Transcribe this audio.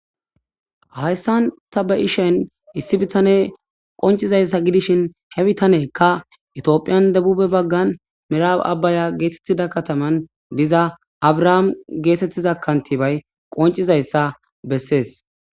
hayssan tabe7ishen issi bitane qoncizayssa gidishin he bitaneekka itoophiyan dabube baggan miraawe abbaya geetettida kataman diza abrahaam geetettiza kantibay qoncizayssa bessees